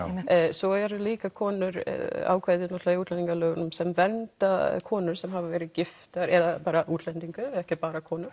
svo eru líka konur ákvæði í útlendingalögunum sem vernda konur sem hafa verið giftar eða útlendingar ekki bara konur